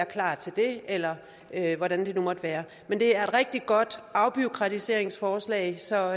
klar til det eller hvordan det nu måtte være men det er et rigtig godt afbureaukratiseringsforslag så